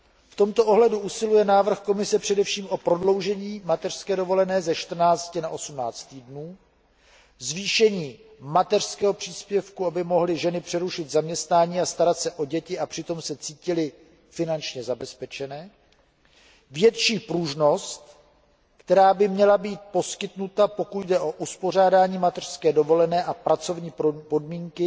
V tomto ohledu usiluje návrh Komise především o prodloužení mateřské dovolené ze 14 na 18 týdnů, zvýšení mateřského příspěvku, aby mohly ženy přerušit zaměstnání a starat se o děti a přitom se cítily finančně zabezpečené, větší pružnost, která by měla být ženám poskytnuta, pokud jde o uspořádání mateřské dovolené a pracovní podmínky